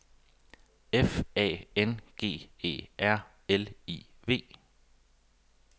F A N G E R L I V